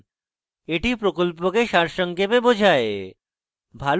এটি প্রকল্পকে সারসংক্ষেপে বোঝায়